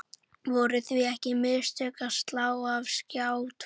Voru því ekki mistök að slá af Skjá tvo?